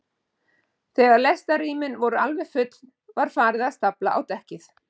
Þegar lestarrýmin voru alveg full var farið að stafla á dekkið.